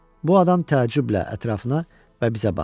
Bu adam təəccüblə ətrafına və bizə baxdı.